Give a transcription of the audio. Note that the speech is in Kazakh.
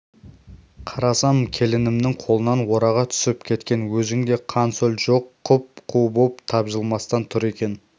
қарасам келінімнің қолынан орағы түсіп кеткен өзінде қан-сөл жоқ құп-қу боп тапжылмастан тұр екен